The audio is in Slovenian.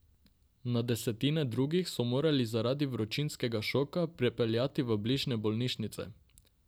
Na desetine drugih so morali zaradi vročinskega šoka prepeljati v bližnje bolnišnice.